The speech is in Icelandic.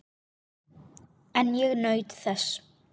En ég naut þess.